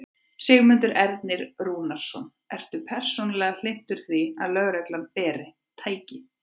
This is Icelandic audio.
Sigmundur Ernir Rúnarsson: Ertu persónulega hlynntur því að lögreglan beri. tæki?